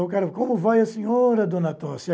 e o cara, como vai a senhora, dona Tosse?